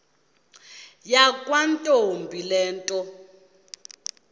yakwantombi le nto